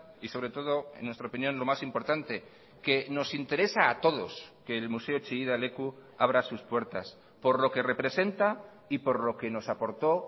y sobre todo en nuestra opinión lo más importante que nos interesa a todos que el museo chillida leku abra sus puertas por lo que representa y por lo que nos aportó